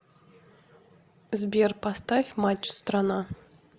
сбер поставь матч страна